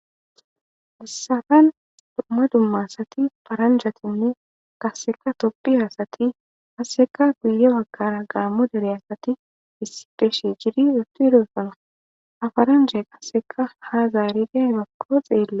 missafan dumma dumma asati paranjatinne kasseka toppiyaasati asseka guye bakkara gaammo dere asati issi beshi jidi uttu edosana afaranja qasseka ha zaarida ibakko xeelle